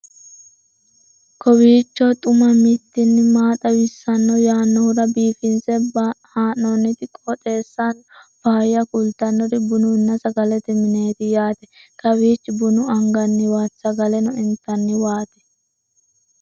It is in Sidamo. kowiicho xuma mtini maa xawissanno yaannohura biifinse haa'noonniti qooxeessano faayya kultannori bununna sagalete mineeti yaate kawiichi buna anganniwaati sagaleno intanniwaati